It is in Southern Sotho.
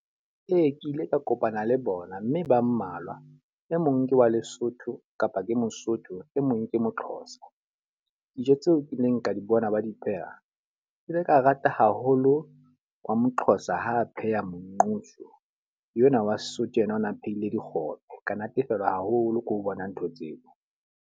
Ee, ke ile ka kopana le bona mme ba mmalwa. E mong ke wa Lesotho kapa ke Mosotho, e mong ke mo-Xhosa. Dijo tseo ke neng ke di bona ba di pheha. Ke ile ka rata haholo wa mo-Xhosa ha a pheha monqosho, yo na wa Sesotho enwa o ne a phehile dikgobe. Ka natefelwa haholo ke ho bona ntho tseo.